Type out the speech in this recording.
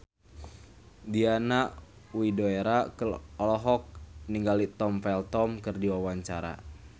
Diana Widoera olohok ningali Tom Felton keur diwawancara